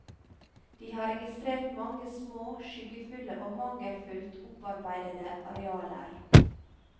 De har registrert mange små, skyggefulle og mangelfullt opparbeidede arealer.